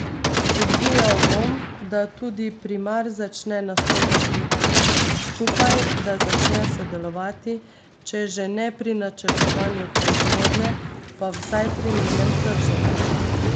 Spodbujal bom, da tudi primar začne nastopati skupaj, da začne sodelovati, če že ne pri načrtovanju proizvodnje, pa vsaj pri njenem trženju.